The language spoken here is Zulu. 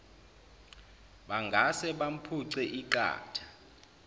bangase bamphuce iqatha